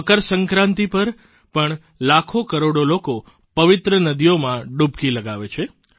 મકર સંક્રાંતિ પર પણ લાખો કરોડો લોકો પવિત્ર નદીઓમાં ડૂબકી લગાવે છે